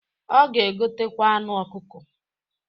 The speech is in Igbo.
Ọ ga-egotekwa anụ ọkụkọ.